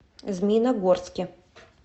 змеиногорске